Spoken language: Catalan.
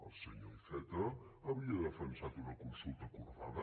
el senyor iceta havia defensat una consulta acordada